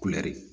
Kulɛri